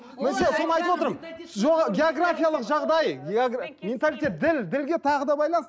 жоқ георграфиялық жағдай менталитет діл ділге тағы да байланысты